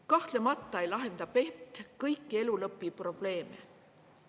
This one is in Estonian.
Kahtlemata ei lahenda PET kõiki elulõpuprobleeme.